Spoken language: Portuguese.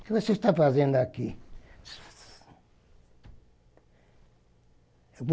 O que você está fazendo aqui?